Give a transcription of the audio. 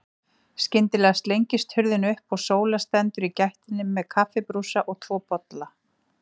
Skyndilega slengist hurðin upp og Sóla stendur í gættinni með kaffibrúsa og tvo bolla.